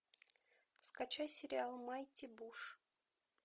скачай сериал майти буш